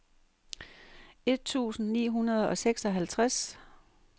et tusind ni hundrede og seksoghalvtreds